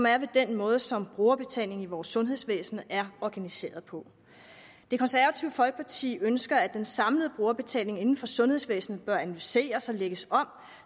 er ved den måde som brugerbetalingen i vores sundhedsvæsen er organiseret på det konservative folkeparti ønsker at den samlede brugerbetaling inden for sundhedsvæsenet bør analyseres og lægges om